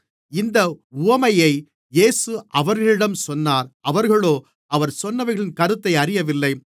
இந்த உவமையை இயேசு அவர்களிடம் சொன்னார் அவர்களோ அவர் சொன்னவைகளின் கருத்தை அறியவில்லை